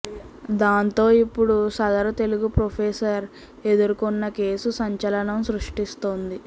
దాంతో ఇప్పుడు సదరు తెలుగు ప్రొఫెసర్ ఎదుర్కున్న కేసు సంచలనం సృష్టిస్తోంది